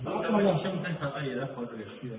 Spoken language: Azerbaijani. çıxmaqla yerə qoyulmuşdur.